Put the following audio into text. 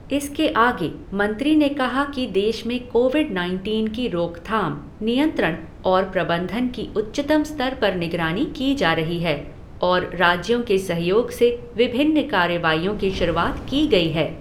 इसके आगे, मंत्री ने कहा कि देश में कोविड नाइनटीन की रोकथाम, नियंत्रण और प्रबंधन की उच्चतम स्तर पर निगरानी की जा रही है और राज्यों के सहयोग से विभिन्न कार्रवाईयों की शुरूआत की गई है।